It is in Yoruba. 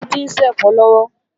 Títí ń ṣẹ̀fọ́ lọ́wọ́